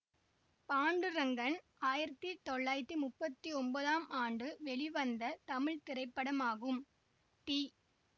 பாண்டுரங்கன் ஆயிரத்தி தொள்ளாயிரத்தி முப்பத்தி ஒம்போதாம் ஆண்டு வெளிவந்த தமிழ் திரைப்படமாகும் டி